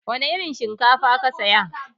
Wana irin shinkafa ka saya?